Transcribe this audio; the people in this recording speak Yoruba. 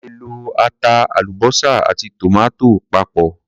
A lè lọ ata, àlúbósà àti tòmátò papọ̀.